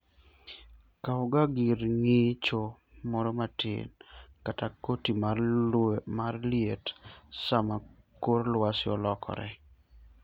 Kawga gir ng'icho moro matin kata koti mar liet sama kor lwasi olokore.